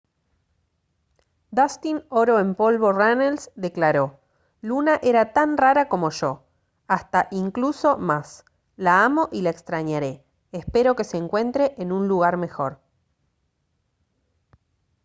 dustin oro en polvo runnels declaró: «luna era tan rara como yo; hasta incluso más. la amo y la extrañaré. espero que se encuentre en un lugar mejor»